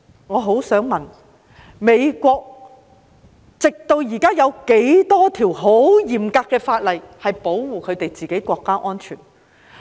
我想問他，直至現在，美國有多少項嚴格的法例是為保護自己國家的安全？